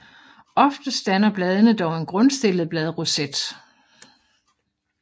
Oftest danner bladene dog en grundstillet bladroset